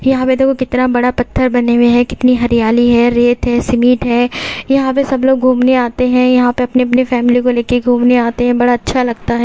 यहां पे देखो कितना बड़ा पत्थर बने हुए हैं कितनी हरियाली है रेत है सिमिट है यहां पे सब लोग घूमने आते है यहां पे अपने अपने फैमिली को लेके घूमने आते है बड़ा अच्छा लगता है।